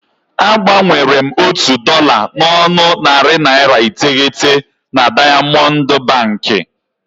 A gbanwere m otu dọla n'ọnụ narị naịra iteghete na Daịamọndụ Bankị.